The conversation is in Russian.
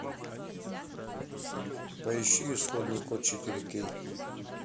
поищи исходный код четыре кей